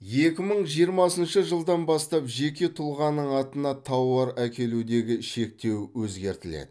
екі мың жиырмасыншы жылдан бастап жеке тұлғаның атына тауар әкелудегі шектеу өзгертіледі